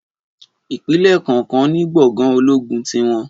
Ìpínlè kọọkan ní gbòngàn ológun tiwon